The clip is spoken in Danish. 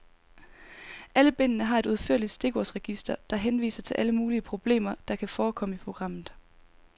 Alle bindene har et udførligt stikordsregister, der henviser til alle mulige problemer, der kan forekomme i programmet.